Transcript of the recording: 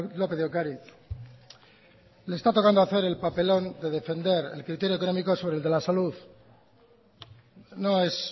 lópez de ocariz le está tocando hacer el papelón de defender el criterio económico sobre el de la salud no es